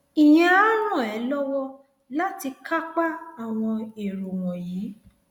ìyẹn á ràn ẹ lọwọ láti kápá àwọn èrò wọnyí